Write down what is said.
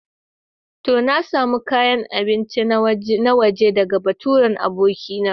To, na samo kayan abinci na waje ɗaga baturen abokina.